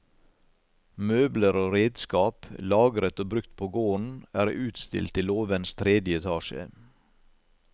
Møbler og redskap, lagret og brukt på gården, er utstilt i låvens tredje etasje.